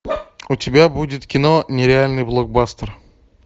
у тебя будет кино нереальный блокбастер